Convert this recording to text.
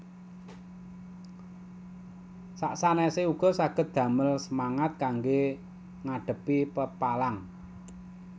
Sak sanèsé uga saged damel semangat kanggé ngadhepi pepalang